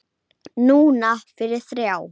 Það finnst mér rangt.